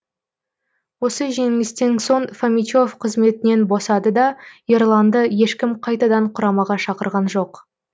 осы жеңілістен соң фомичев қызметінен босады да ерланды ешкім қайтадан құрамаға шақырған жоқ